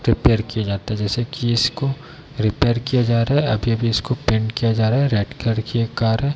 Repair किया जाता है जैसे की इसको रिपेयर किया जा रहा है | अभी-अभी इसको पेंट किया जा रहा है रेड कलर की एक कार है ।